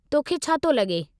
तो खे छा तो लगे॒?